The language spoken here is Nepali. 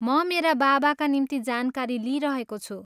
म मेरा बाबाका निम्ति जानकारी लिइरहेको छु।